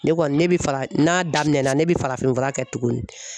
Ne kɔni ne bɛ fara n'a daminɛnna ne bɛ farafin fura kɛ tuguni.